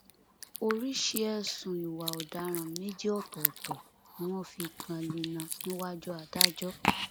oríṣìí ẹsùn ìwà ọdaràn méjì ọtọọtọ ni wọn fi kan lina níwájú adájọ